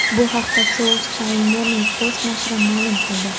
Bu haqda South China Morning Post nashri ma’lum qildi .